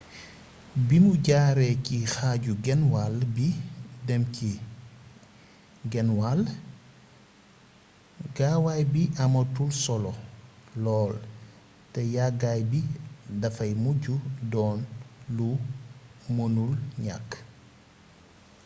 bimu jaaree ci xaaju-genwall bi dem ci genwall gaawaay bi amatul solo lool te yaggaay bi dafay mujj doon lu mënul ñakk